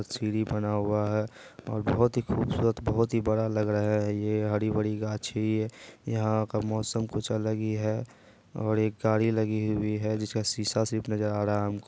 सीढ़ी बना हुआ है और बहुत ही खूबसूरत बहुत ही बड़ा लग रहा है ये हरी भरी गाछी यहां का मौसम कुछ अलग ही है और एक गाड़ी लगी हुयी है जिस का शीशा सिर्फ नजर आ रहा है हमको।